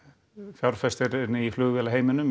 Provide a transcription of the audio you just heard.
fjárfestirinn í